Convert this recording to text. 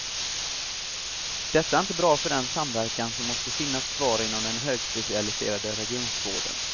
Detta är inte bra för den samverkan som måste finnas kvar inom den högspecialiserade regionvården.